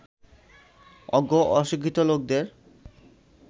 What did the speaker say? অজ্ঞ অশিক্ষিত লোকদের